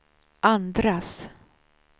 andras